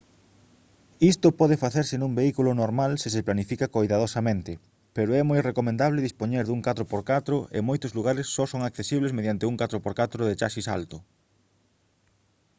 isto pode facerse nun vehículo normal se se planifica coidadosamente pero é moi recomendable dispoñer dun 4x4 e moitos lugares só son accesibles mediante un 4x4 de chasis alto